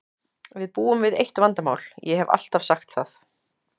Við búum við eitt vandamál, ég hef alltaf sagt það.